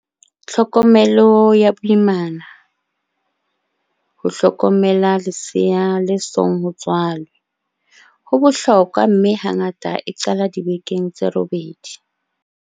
Tlhokomelo ya boimana, ho hlokomela lesea le song ho tswalwe, ho bohlokwa mme hangata e qala dibekeng tse robedi.